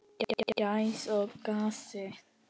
Gæs og gassi.